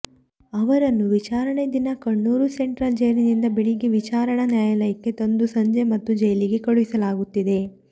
ಅವರನ್ನು ವಿಚಾರಣೆ ದಿನ ಕಣ್ಣೂರು ಸೆಂಟ್ರಲ್ ಜೈಲಿನಿಂದ ಬೆಳಿಗ್ಗೆ ವಿಚಾರಣಾ ನ್ಯಾಯಾಲಯಕ್ಕೆ ತಂದು ಸಂಜೆ ಮತ್ತೆ ಜೈಲಿಗೆ ಕಳುಹಿಸಲಾಗುತ್ತಿದೆ